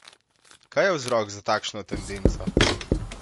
Kaj je vzrok za takšno tendenco?